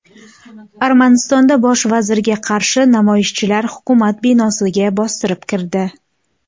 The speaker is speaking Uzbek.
Armanistonda bosh vazirga qarshi namoyishchilar hukumat binosiga bostirib kirdi .